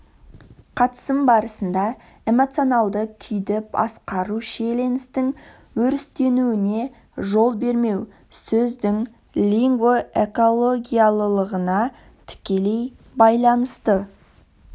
қатысым барысында эмоционалды күйді басқару шиеленістің өрістеуіне жол бермеу сөздің лингвоэкологиялылығына тікелей байлансты